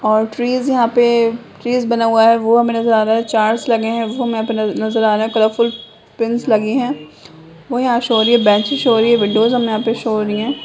और ट्रीज यहां पे ट्रीज बना हुआ है वो हमे नजर आ रहा है चार्टस लगे है वो हमे यहां पे नजर आ रहे है कलर फुल पिंस लगी है वो यहां शो हो रही हैं बेंचेस शो हो रही है विंडोस हमे यहां पे शो हो रही है।